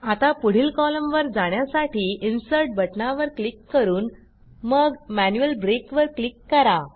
आता पुढील कॉलमवर जाण्यासाठी इन्सर्ट बटणावर क्लिक करून मग मॅन्युअल ब्रेक वर क्लिक करा